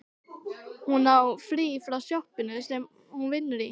Hún á frí frá sjoppunni sem hún vinnur í.